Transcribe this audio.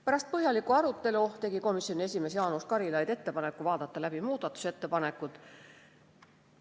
Pärast põhjalikku arutelu tegi komisjoni esimees Jaanus Karilaid ettepaneku vaadata läbi muudatusettepanekud.